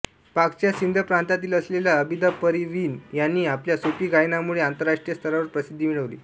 पाकच्या सिध प्रांतातील असलेल्या अबिदा परवीन यांनी आपल्या सूफी गायनामुळे आंतरराष्ट्रीय स्तरावर प्रसिद्धी मिळविली